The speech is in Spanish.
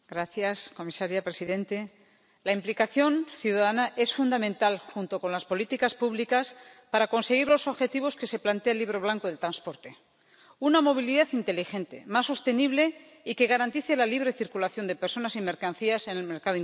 Señor presidente, señora comisaria, la implicación ciudadana es fundamental, junto con las políticas públicas, para conseguir los objetivos que se plantea el Libro Blanco del transporte. Una movilidad inteligente, más sostenible y que garantice la libre circulación de personas y mercancías en el mercado interior.